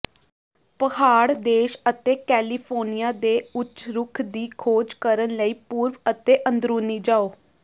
ਪਹਾੜ ਦੇਸ਼ ਅਤੇ ਕੈਲੀਫੋਰਨੀਆ ਦੇ ਉੱਚ ਰੁੱਖ ਦੀ ਖੋਜ ਕਰਨ ਲਈ ਪੂਰਬ ਅਤੇ ਅੰਦਰੂਨੀ ਜਾਓ